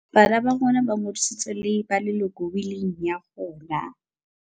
Bana ba rona ba ngodisitswe le ba leloko wiling ya rona.